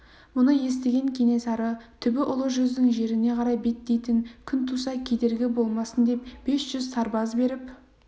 мұны естіген кенесары түбі ұлы жүздің жеріне қарай беттейтін күн туса кедергі болмасын деп бес жүз сарбаз беріп